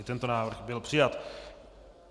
I tento návrh byl přijat.